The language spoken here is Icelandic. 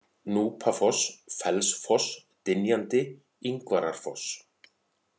Núpafoss, Fellsfoss, Dynjandi, Ingvararfoss